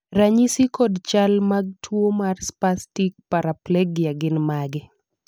ranyisi kod chal mag tuo mar Spastic paraplegia gin mage?